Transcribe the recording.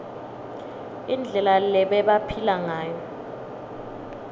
indlela lebebaphila ngayo